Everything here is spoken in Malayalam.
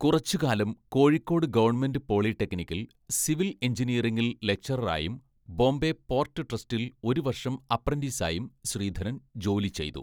കുറച്ചുകാലം കോഴിക്കോട് ഗവൺമെൻ്റ് പോളിടെക്നിക്കിൽ, സിവിൽ എഞ്ചിനീയറിംഗിൽ ലക്ചററായും, ബോംബെ പോർട്ട് ട്രസ്റ്റിൽ ഒരു വർഷം അപ്രൻറ്റീസായും ശ്രീധരൻ ജോലി ചെയ്തു.